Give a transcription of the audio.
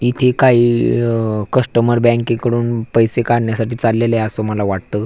इथे काही अ कस्टमर बँके कडून पैसे काडण्यासाठी चाललेले असं मला वाटतं.